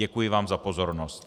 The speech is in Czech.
Děkuji vám za pozornost.